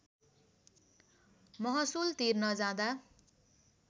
महसुल तिर्न जाँदा